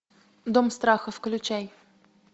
дом страха включай